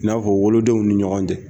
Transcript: N'a fɔ wolodenw ni ɲɔgɔn cɛ